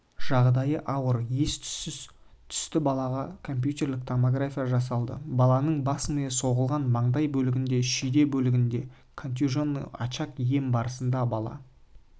жағдайы ауыр ес-түссіз түсті балаға компьютерлік томография жасалды баланың бас миы соғылған маңдай бөлігінде шүйде бөлігінде контуженный очаг ем барысында бала